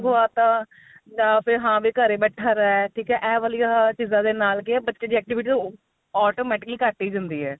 ਖਾਵਤਾ ਜਾਂ ਫੇਰ ਹਾਂ ਵੀ ਘਰੇ ਬੈਠਾ ਰਿਹ ਠੀਕ ਏ ਆਹ ਵਾਲੀਆਂ ਚੀਜਾ ਦੇ ਨਾਲ ਕੀ ਏ ਬੱਚੇ ਦੀ activities automatically ਘੱਟ ਹੀ ਜਾਂਦੀ ਏ